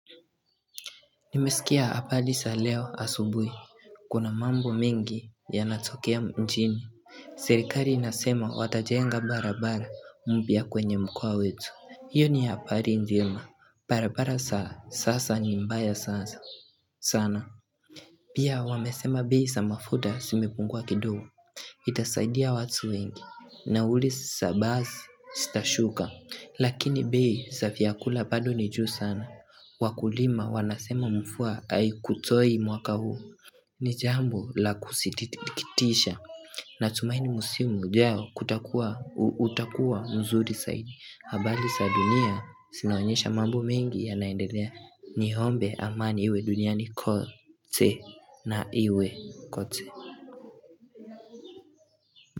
Nimeskia habari za leo asubui, kuna mambo mengi yanatokea mjini, serikali inasema watajenga barabara mpya kwenye mkoa wetu. Hiyo ni habari njema barabara za sasa ni mbaya sana. Pia wamesema bei za mafuta zimepungua kidogo Itasaidia watu wengi, nauli za basi zitashuka, lakini bei za vyakula bado ni juu sana. Wakulima wanasema mvua haikutoi mwaka huu ni jambo la kusitikitisha. Natumaini msimu ujao utakuwa mzuri zaidi. Habari za dunia zinaonyesha mambo mengi yanaendelea. Niombe ama niwe duniani kote na iwe kote.